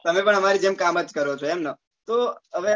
તમે પણ અમર જેમ કામ જ કરો છો એમ ને તો આવે